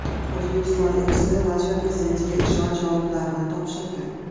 O‘zbekiston elchisi Latviya prezidentiga ishonch yorliqlarini topshirdi.